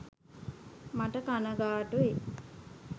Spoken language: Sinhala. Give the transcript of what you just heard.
මට කණගාටුයි.